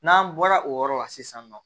N'an bɔra o yɔrɔ la sisan nɔ